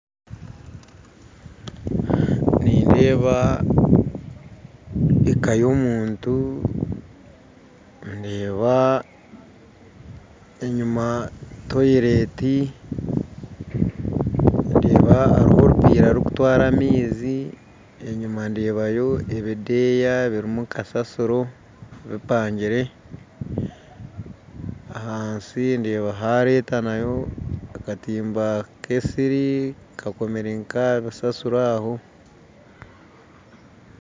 Nindeeba eka y'omuntu ndeeba enyima toyileti ndeeba hariho orupiira rurikutwara amaizi, enyima ndeebayo ebideeya birimu kusasiro bipangire ahansi ndeeba haaretwayo akatimba k'esiri kakomire nk'aha bisasiro aho